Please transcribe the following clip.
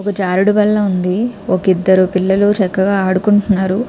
ఒక జారుడు బల్ల ఉంది ఒక ఇద్దరు పిల్లలు చక్కగా ఆడుకుంటున్నారు.